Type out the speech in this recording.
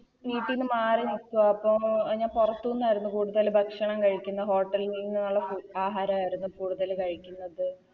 വീട്ടീന്ന് മാറി നിക്കുവാ ഇപ്പൊ ഞാൻ പൊറത്തുന്നരുന്നു കൂടുതൽ ഭക്ഷണം കഴിക്കുന്നേ Hotel കളിൽ നിന്നുള്ള ഫു ആഹാരവരുന്നു കൂടുതല് കഴിക്കുന്നത്